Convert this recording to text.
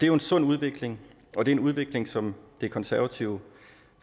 jo en sund udvikling og det er en udvikling som det konservative